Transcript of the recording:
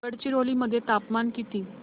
गडचिरोली मध्ये तापमान किती